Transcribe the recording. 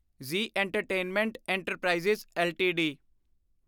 Zee entertainment enterprise LTD